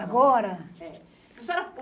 Agora? é.